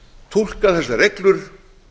túlka þessar reglur